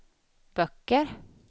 böcker